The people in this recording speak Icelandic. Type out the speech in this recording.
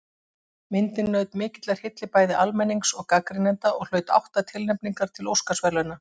Myndin naut mikillar hylli bæði almennings og gagnrýnenda og hlaut átta tilnefningar til Óskarsverðlauna.